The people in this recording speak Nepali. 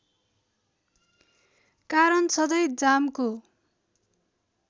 कारण सधैँ जामको